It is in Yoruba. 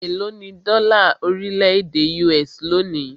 Élo ní dọ́là orílẹ̀-èdè US lónìí?